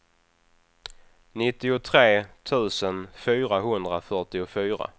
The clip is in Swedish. nittiotre tusen fyrahundrafyrtiofyra